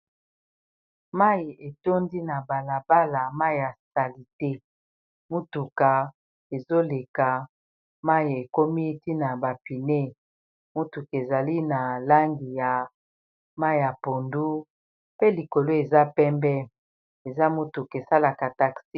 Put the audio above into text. Mayi etondi na balabala mai ya sali te motuka ezoleka mai ekomi tina bapine motuka ezali na langi ya mai ya pondu pe likolo eza pembe eza motuka esalaka taxi.